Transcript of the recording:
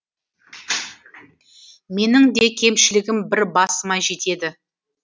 менің де кемшілігім бір басыма жетеді